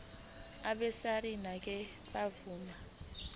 abesars ngeke bavuma